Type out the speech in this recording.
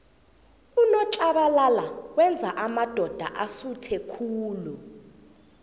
unotlabalala wenza amadoda asuthe khulu